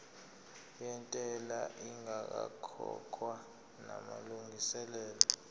yentela ingakakhokhwa namalungiselo